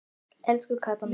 Elsku Kata mín.